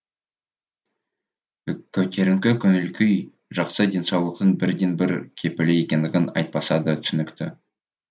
көтеріңкі көңіл күй жақсы денсаулықтың бірден бір кепілі екендігі айтпаса да түсінікті